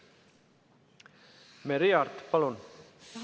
Merry Aart, palun!